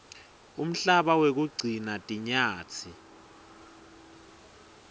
umhlaba wekugcina tinyatsi